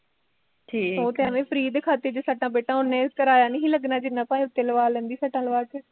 ਉਹ ਤਾਂ ਅਵੇ ਹੀਂ free ਦੇ ਖਾਤੇ ਚ ਸੱਟਾਂ ਫੇਟਾਂ, ਓਨੇ ਕਿਰਾਇਆ ਨੀ ਸੀ ਲੱਗਣਾ ਜਿਨਾ ਭਾਵੇ ਉਤੇ ਲਵਾਂ ਲੈਂਦੀ ਸੱਟਾਂ ਲਵਾਂ ਕੇ